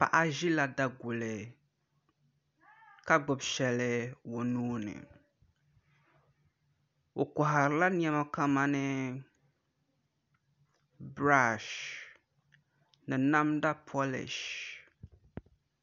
Paɣa ʒila daguli ka gbubi shɛli o nuuni o koharila niɛma kamani biraash ni namda polish